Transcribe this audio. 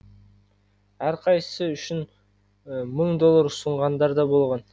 әрқайсысы үшін мың доллар ұсынғандар да болған